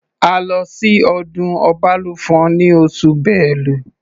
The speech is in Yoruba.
A lọ sí ọdún Ọbalùfọ̀n ní oṣù Bélu.